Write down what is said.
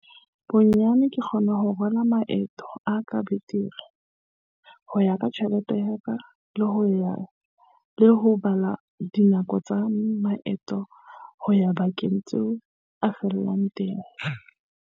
"Bonyane ke kgona ho rala maeto a ka betere, ho ya ka tjhelete ya ka, le ho bala dinako tsa maeto ho ya dibakeng tseo a fellang teng."